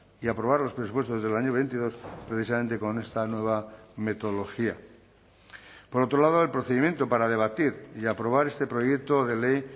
y aprobar los presupuestos del año veintidós precisamente con esta nueva metodología por otro lado el procedimiento para debatir y aprobar este proyecto de ley